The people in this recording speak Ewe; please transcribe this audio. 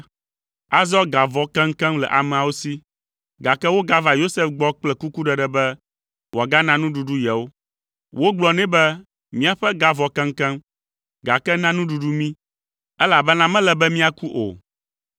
Azɔ ga vɔ keŋkeŋ le ameawo si, gake wogava Yosef gbɔ kple kukuɖeɖe be wòagana nuɖuɖu yewo. Wogblɔ nɛ be, “Míaƒe ga vɔ keŋkeŋ, gake na nuɖuɖu mí, elabena mele be míaku o.”